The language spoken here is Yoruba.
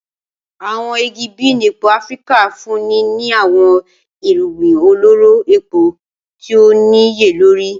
Awọn igi bean epo Afirika nfunni ni awọn irugbin ọlọrọ epo ti o niyelori.